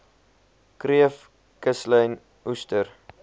kreef kuslyn oester